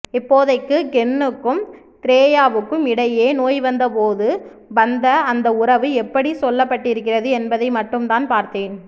இப்போதைக்கு கென்னுக்கும் திரேயாவுக்கும் இடையே நோய்வந்தபோது வந்த அந்த உறவு எப்படி சொல்லப்பட்டிருக்கிறது என்பதை மட்டும்தான் பார்த்தேன்